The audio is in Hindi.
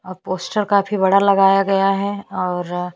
इस अअ अ इसको क्या बोलते है ट्रॉली --